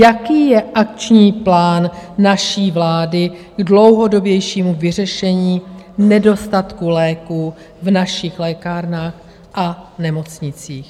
Jaký je akční plán naší vlády k dlouhodobějšímu vyřešení nedostatku léků v našich lékárnách a nemocnicích?